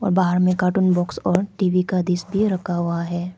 बाहर में cartoon box और टी_वी का डिश भी रखा हुआ है।